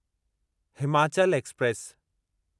Himachal express